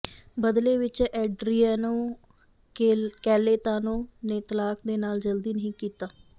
ਬਦਲੇ ਵਿਚ Adriano Celentano ਨੇ ਤਲਾਕ ਦੇ ਨਾਲ ਜਲਦੀ ਨਹੀਂ ਕੀਤਾ